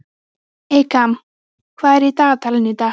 Eykam, hvað er í dagatalinu í dag?